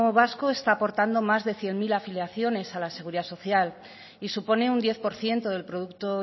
vasco está aportando más de cien mil afiliaciones a la seguridad social y supone un diez por ciento del producto